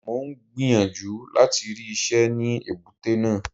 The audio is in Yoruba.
Mò ń gbìyànjú láti rí iṣẹ́ ní èbúté náà.